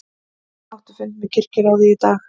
Átti fund með kirkjuráði í dag